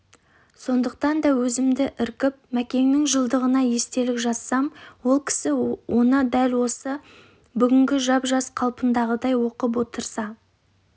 сондықтан да өзімді іркіп мәкеңнің жылдығына естелік жазсам ол кісі оны дәл бүгінгі жап жас қалпындағыдай оқып отырса